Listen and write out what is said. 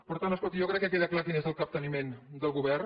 per tant escolti jo crec que queda clar quin és el capteniment del govern